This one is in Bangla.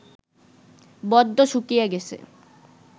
বড্ড শুকিয়ে গেছে